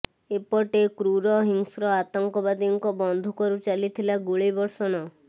ଏପଟେ କ୍ରୁର ହିଂସ୍ର ଆତଙ୍କବାଦୀଙ୍କ ବନ୍ଧୁକରୁ ଚାଲିଥିଲା ଗୁଳି ବର୍ଷଣ